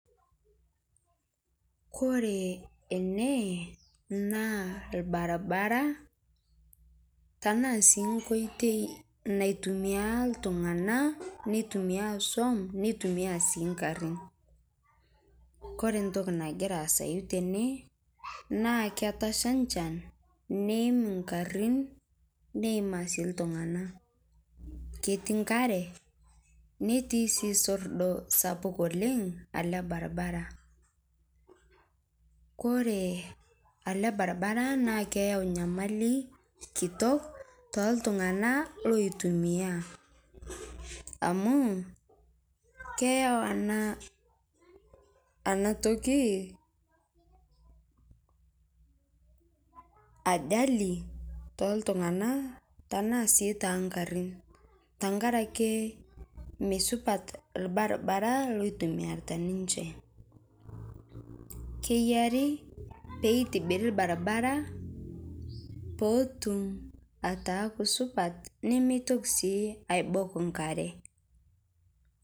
Kore ene naa lbarabara tana sii nkotei naitumia ltung'ana netumia soum netumia sii nkaarin. Kore ntokii nagiraa aasayu tene naa ketashaa nchaan neiim nkaarin neimaa sii ltung'ana. Ketii nkaare netii sii soordoo sapuuk oleng ale lbarabara. Kore ale lbarabara naa keyau nyamalii kitook to ltung'ana loitumia amu keyauu ana ana ntokii ajali to ltung'ana tana sii ta nkaarin tang'araki mesupaat lbarabara loitumiarita ninchee. Keiyaari pee itibiiri lbarabara poo otuum ataaku supaat nimeetoki sii aibook nkaare.